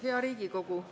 Hea Riigikogu!